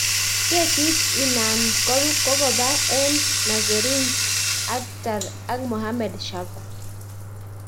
Kesit inanan kokopa en Nasereen Akhter ak Mohammed Shaba.